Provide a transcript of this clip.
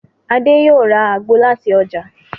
Adé yóò ra àgbo làti ọjà.